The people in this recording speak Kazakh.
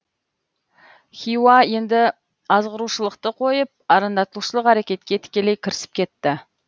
хиуа енді азғырушылықты қойып арандатушылық әрекетке тікелей кірісіп кетті